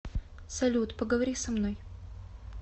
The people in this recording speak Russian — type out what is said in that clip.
салют поговори со мной